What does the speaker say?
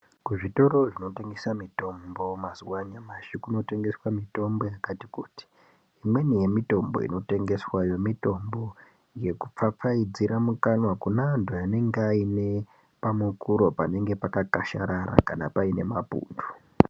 Kuzvitoro zvinotengesa mitombo mazuwa anyamashi kunotengeswa mitombo yakati kuti imweni yemitombo inotengeswayo mitombo yekupfapfaidzira mukanwa kune antu anonga aine pamukuro pakakasharara kana paine mapundu.